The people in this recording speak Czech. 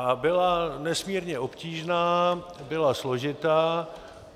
A byla nesmírně obtížná, byla složitá,